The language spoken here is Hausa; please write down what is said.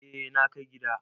Eh na kai gida.